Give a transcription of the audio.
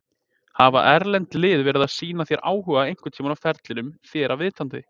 Hafa erlend lið verið að sýna þér áhuga einhverntímann á ferlinum þér að vitandi?